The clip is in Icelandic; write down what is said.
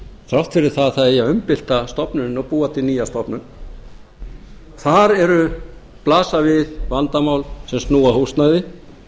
þrátt fyrir að það eigi að umbylta stofnuninni og búa til nýja stofnun þar blasa við vandamál sem snúa að húsnæði